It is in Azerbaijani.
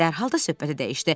Dərhal da söhbəti dəyişdi.